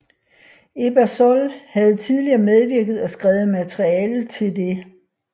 Ebersol havde tidligere medvirket og skrevet materiale til det